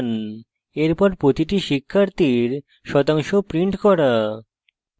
এরপর প্রতিটি শিক্ষার্থীর শতাংশ print করা